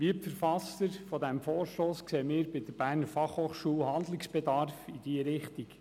Wie die Verfasser dieses Vorstosses sehen wir bei der BFH Handlungsbedarf in diesem Bereich.